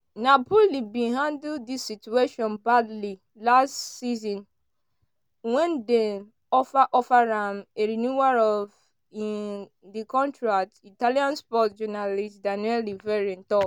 “napoli bin handle di situation badly last season wen dem offer offer am a renewal of um di contract” italian sports journalist daniele verri tok.